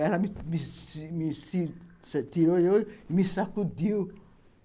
Ela me tirou eu e me sacudiu.